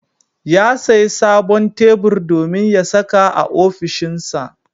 Ya sayi sabon tebur domin ya saka a ofishinsa.